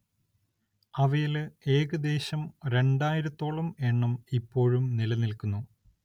അവയില് ഏകദ്ദേശം രണ്ടായിരത്തോളം എണ്ണം ഇപ്പോഴും നിലനിൽക്കുന്നു.